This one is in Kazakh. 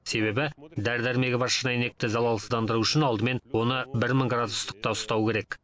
себебі дәрі дәрмегі бар шыны әйнекті залалсыздандыру үшін алдымен оны бір мың градус ыстықта ұстау керек